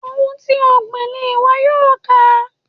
Ohun ti o gbìn ni iwọ yoo ká.